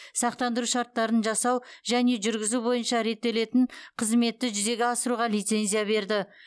сақтандыру шарттарын жасау және жүргізу бойынша реттелетін қызметті жүзеге асыруға лицензия берді